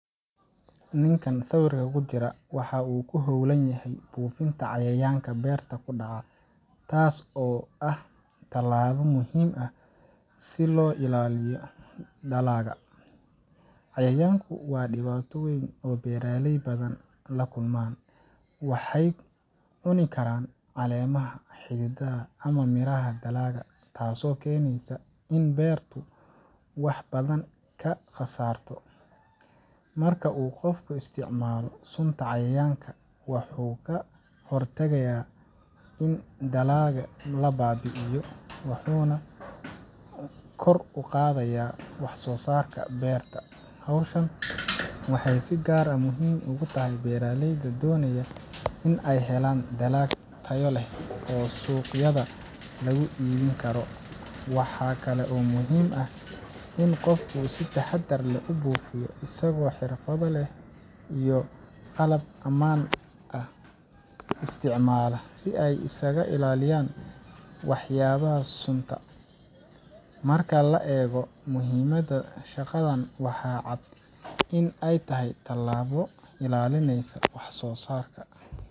Ninkan sawirkan kujira waxuu ku hoolanyahay buufinta cayayaanka beerta kudhaca taas oo ah talaabo muhiim ah si loo ilaaliyo dalaga. Cayayaanku waa dhibaato weeyn oo beeraley badan la kulmaan waxey cuni karaan caleemaha cididaha ama miraha dalaga taaso keeneysa in beertu wax badan ka qasaarto marka uu qofka isticmaalo sunta cayayaanka waxuu ka hortagaya in dalaga la baabi'iyo wuxuuna kor uqaadaya wax soo saarka beerta howshan waxee si gaar ah muhiim ugu tahay beeraleyda doonaya in a helaan dalag tayo leh oo suuqyada lagu iibin karo wxaa kalo oo muhiim ah in uu qof si taxadar leh ubuufiyo asigoo xirfado leh iyo qalab amaan ah isticmaala si ay iskaga ilaaliyaan wax yaabaha sunta marka la eego muhiimada shaqadan waxaa cad in ay tahay talaabo ilaalineysa wax soo saarka.